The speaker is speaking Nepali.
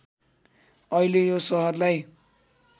अहिले यो सहरलाई